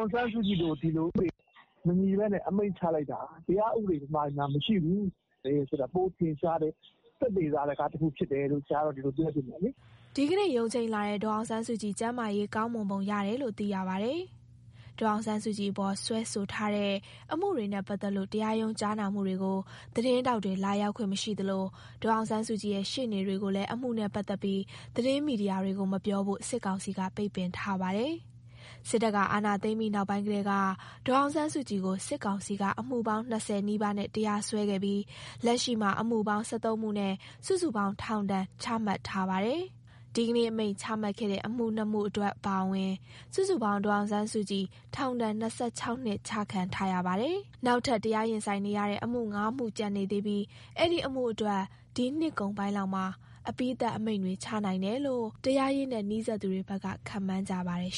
င်ဆန်းစုကြည်ကို အခုလို အမိန့်ချလိုက်တာက မြန်မာပြည်မှာ တရားဥပဒေမရှိဘူးဆိုတာ ပိုထင်ရှားတယ်။ သက်သေသာဓက တခုဖြစ်တယ်လို့ ဒီလို ပြောချင်တယ်။” ဒီနေ့ရုံးချိန်းလာတဲ့ ဒေါ်အောင်ဆန်းစုကြည်ကျန်းမာရေးကောင်းမွန်ပုံရတယ်လို့ သိရပါတယ်။ ဒေါ်အောင်ဆန်းစုကြည်အပေါ် စွဲဆိုထားတဲ့အမှုတွေနဲ့ပတ်သက်လို့ တရားရုံး ကြားနာမှုတွေကို သတင်းထောက်တွေ လာရောက်ခွင့် မရှိသလို ဒေါ်အောင်ဆန်းစုကြည်ရဲ့ ရှေ့နေတွေကိုလည်း အမှုနဲ့ပတ်သက်ပြီး သတင်းမီဒီယာတွေကို မပြောဖို့ စစ်ကောင်စီက ပိတ်ပင်ထားပါတယ်။ စစ်တပ်က အာဏာသိမ်းပြီးနောက်ပိုင်းကတည်းက ဒေါ်အောင်ဆန်းစုကြည်ကို စစ်ကောင်စီက အမှုပေါင်း ၂၀ နီးပါးနဲ့တရားစွဲခဲ့ပြီး လက်ရှိမှာ အမှုပေါင်း ၁၃ မှုနဲ့ စုစုပေါင်း ထောင်ဒဏ်ချမှတ်ထားပါတယ်။ ဒီကနေ့အမိန့်ချမှတ်ခဲ့တဲ့ အမှု ၂ မှုအတွက်အပါအဝင် စုစုပေါင်း ဒေါ်အောင်ဆန်းစုကြည် ထောင်ဒဏ် ၂၆ နှစ်ချခံထားရပါတယ်။ နောက်ထပ် တရားရင်ဆိုင်နေရတဲ့ အမှု ၅ မှုကျန်နေသေးပြီး အဲဒီအမှုတွေအတွက် ဒီနှစ်ကုန်ပိုင်းလောက်မှာ အပြီးသတ်အမိန့်တွေချနိုင်တယ်လို့ တရားရေးနဲ့နီးစပ်သူတွေဘက်က ခန့်မှန်းကြပါတယ်